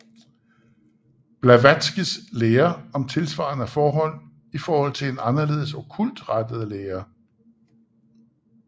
Blavatskys lære om tilsvarende forhold i forhold til en anderledes okkult rettet lære